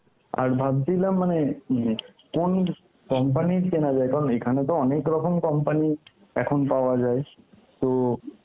আর ভাবছিলাম মানে কোন company র কেনা যায় কারণ এখানে তো অনেক রকম company এখন পাওয়া যায় তো